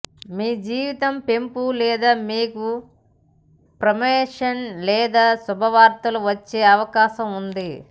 మీ జీతం పెంపు లేదా మీకు ప్రమోషన్ లేదా శుభవార్తలు వచ్చే అవకాశం ఉంది